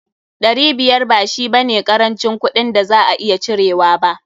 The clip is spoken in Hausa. Dari biyar ba shi ba ne karancin kuɗin da za a iya cirewa ba.